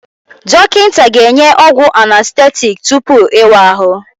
Dọkịta ga-enye ọgwụ anestetiiki tupu ịwa ahụ